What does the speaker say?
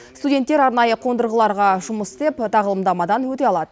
студенттер арнайы қондырғыларда жұмыс істеп тағылымдамадан өте алады